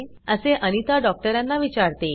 असे अनिता डॉक्टरांना विचारते